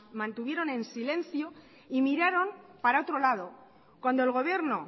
mantuvieron en silencio y miraron para otro lado cuando el gobierno